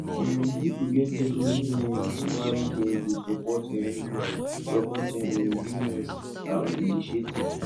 um pipo get different reasons why dem de support um support um businesses and initiative